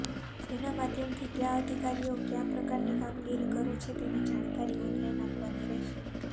જેના માધ્યમથી કયા અધિકારીઓ કયા પ્રકારની કામગીરી કરે છે તેની જાણકારી ઓનલાઇન આપવાની રહેશે